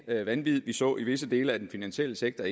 at det vanvid vi så i visse dele af den finansielle sektor